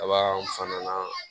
Abaw fana na